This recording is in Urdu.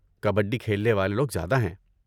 کبڈی کھیلنے والے لوگ زیادہ ہیں۔